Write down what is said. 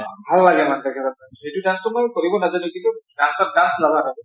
ভাল লাগে ন তেখেতৰ dance । এইটো dance টো মই কৰিব নাজানো কিন্তু